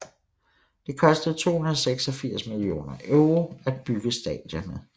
Det kostede 286 millioner euro at bygge stadionet